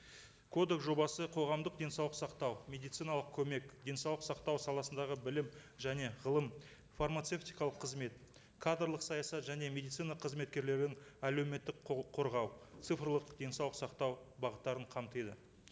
кодекс жобасы қоғамдық денсаулық сақтау медициналық көмек денсаулық сақтау саласындағы білім және ғылым фармацевтикалық қызмет кадрлық саясат және медицина қызметкерлерін әлеуметтік құқық қорғау цифрлық денсаулық сақтау бағыттарын қамтиды